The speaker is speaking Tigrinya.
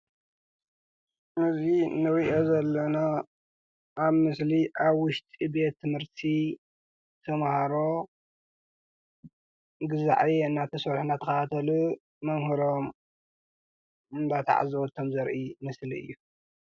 እዚ እንሪኦ ዘለና ኣብ ምስሊ ኣብ ውሽጢ ቤት ትምህርቲ ተማሃሮ ገዛ ዕዮ እናሰርሑን እናተኸታተሉን መምህሮም እናተዓዘቡ ከም ዘርኢ ምስሊ እዩ፡፡